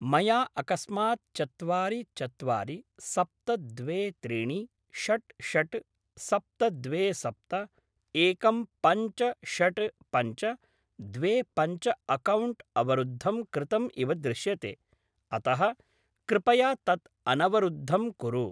मया अकस्मात् चत्वारि चत्वारि, सप्त द्वे त्रिणि, षड् षड्, सप्त द्वे सप्त, एकं पञ्च षड् पञ्च, द्वे पञ्च अक्कौण्ट् अवरुद्धं कृतम् इव दृश्यते अतः कृपया तत् अनवरुद्धं कुरु।